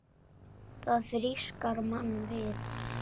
Það frískar mann við.